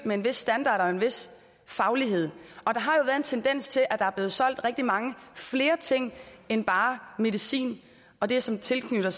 med en vis standard og en vis faglighed og der har jo været en tendens til at der er blevet solgt rigtig mange flere ting end bare medicin og det som er tilknyttet